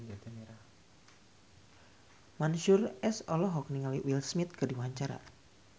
Mansyur S olohok ningali Will Smith keur diwawancara